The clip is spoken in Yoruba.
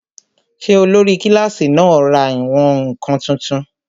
Ṣé olórí kílásì náà ra ìwọ̀n-ǹkan tuntun?